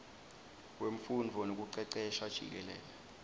wemfundvo nekucecesha jikelele